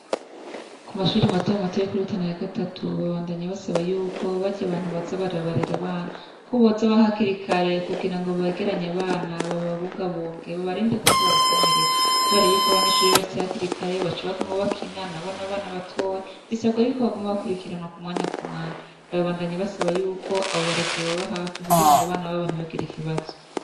Ku mashure matomato yo kuri Rutana ya gatatu babandanya basaba yuko barya bantu boza bararera abana ko boza hakiri kare kugira ngo begeranye abana bababungabunge babarinde kuza barakomereka. kubera yuko abanyeshure bashitse hakiri kare baca baguma bakina, nabo ni abana batoya. Bisabwa yuko bokwama bakwirikiranwa ku mwanya ku mwanya. Barabandanya basaba yuko abo barezi bobaba hafi kugira abana babo nt8bagire ikibazo.